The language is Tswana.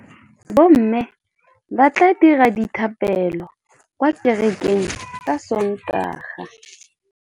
Bommê ba tla dira dithapêlô kwa kerekeng ka Sontaga.